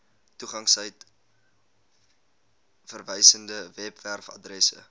toegangstyd verwysende webwerfaddresse